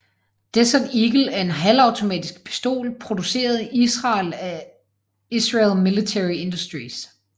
Desert Eagle er en halvautomatisk pistol produceret i Israel af Israel Military Industries